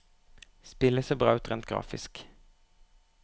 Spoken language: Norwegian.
Spillet ser bra ut rent grafisk.